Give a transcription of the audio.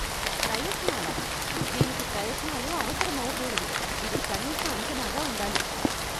ప్రయత్నాలా? దీనికి ప్రయత్నాలు అవసరమవకూడదు, ఇది కనీస అంచనాగా ఉండాలి.